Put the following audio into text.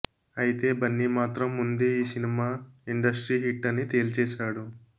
ఐతే బన్నీ మాత్రం ముందే ఈ సినిమా ఇండస్ట్రీ హిట్ అని తేల్చేశాడు